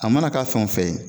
A mana k'a fɛn o fɛn ye